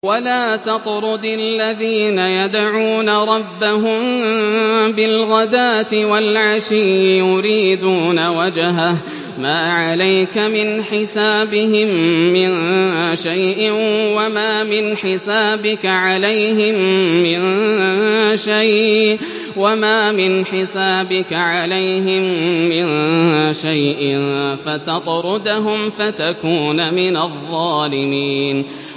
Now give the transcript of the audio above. وَلَا تَطْرُدِ الَّذِينَ يَدْعُونَ رَبَّهُم بِالْغَدَاةِ وَالْعَشِيِّ يُرِيدُونَ وَجْهَهُ ۖ مَا عَلَيْكَ مِنْ حِسَابِهِم مِّن شَيْءٍ وَمَا مِنْ حِسَابِكَ عَلَيْهِم مِّن شَيْءٍ فَتَطْرُدَهُمْ فَتَكُونَ مِنَ الظَّالِمِينَ